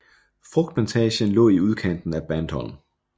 Frugtplantagen lå i udkanten af Bandholm